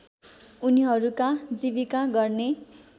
उनीहरूका जीविका गर्ने